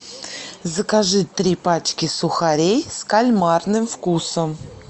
закажи три пачки сухарей с кальмарным вкусом